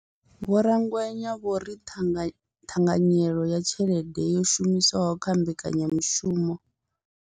Vho Rakwena vho ri ṱhanga ṱhanganyelo ya tshelede yo shumiswaho kha mbekanyamushumo.